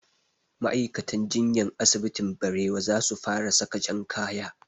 Ma'aikatan jinyan asibitin barewa za su fara saka jan kaya